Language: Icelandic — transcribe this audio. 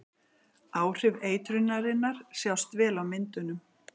áhrif eitrunarinnar sjást vel á myndunum